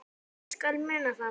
Ég skal muna það